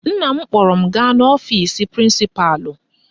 Nna m kpọrọ m gaa n'ọfisi prịnsịpalụ.